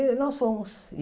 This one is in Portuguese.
E nós fomos.